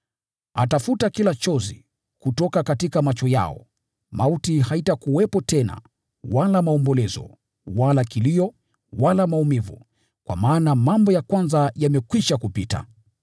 Atafuta kila chozi kutoka macho yao. Mauti haitakuwepo tena, wala maombolezo, wala kilio, wala maumivu, kwa maana mambo ya kwanza yamekwisha kupita.”